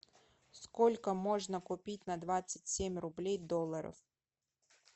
сколько можно купить на двадцать семь рублей долларов